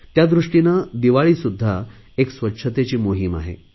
त्यादृष्टीने दिवाळीसुध्दा एक स्वच्छतेची मोहिम आहे